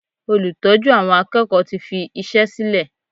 Olùtọ́jú àwọn akẹ́kọ̀ọ́ tí fi iṣẹ́ sílè.